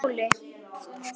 Þær skiptu máli.